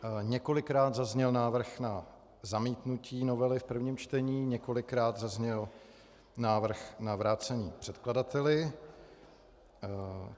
Několikrát padl návrh na zamítnutí novely v prvním čtení, několikrát zazněl návrh na vrácení předkladateli.